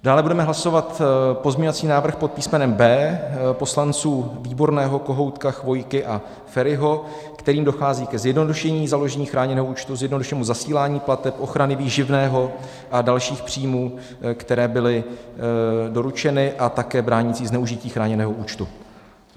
Dále budeme hlasovat pozměňovací návrh pod písmenem B poslanců Výborného, Kohoutka, Chvojky a Feriho, kterým dochází ke zjednodušení založení chráněného účtu, zjednodušenému zasílání plateb, ochrany výživného a dalších příjmů, které byly doručeny, a také bránící zneužití chráněného účtu.